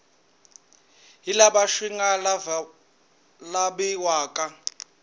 hi laha swi nga laviwaka